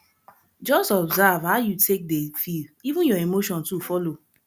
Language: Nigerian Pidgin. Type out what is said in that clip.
jus observe how yu take dey feel even yur emotion too follow